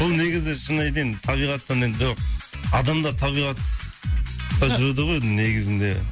бұл негізі шынын айтайын табиғаттан адам да табиғатқа жүреді ғой негізінде